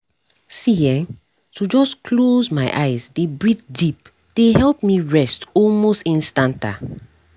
see[um]to just close my eyes dey breathe deep dey help me rest almost instanta